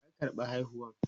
waya karɓa haihuwan?